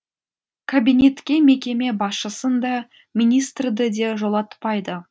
кабинетке мекеме басшысын да министрді де жолатпайды